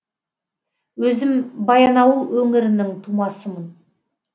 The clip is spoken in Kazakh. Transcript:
өзім баянауыл өңірінің тумасымын